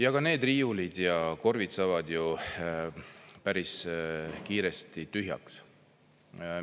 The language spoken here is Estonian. Ja ka need riiulid ja korvis saavad ju päris kiiresti tühjaks,